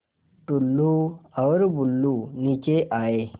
टुल्लु और बुल्लु नीचे आए